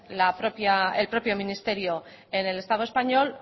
el propio ministerio en el estado español